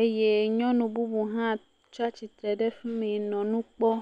Eye nyɔnu bubu hã tsa tsi tre ɖe afi mi nɔ nu kpɔ.